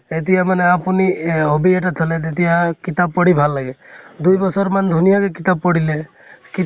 এতিয়া মানে আপুনি এ hobby এটা থʼলে, তেতিয়া কিতাপ পঢ়ি ভাল লাগে । দুইবছৰ মান ধুনীয়া কে কিতাপ পঢ়িলে । কি